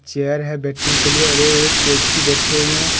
Chair है बैठने के लिए और ये एक व्यक्ति बैठे हुए हैं।